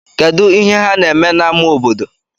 Kedụ ihe ha na-eme n'amá obodo?